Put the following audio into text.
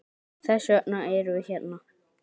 Þess vegna erum við hérna!